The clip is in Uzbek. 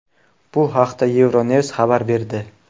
Bu haqda Euronews xabar berdi .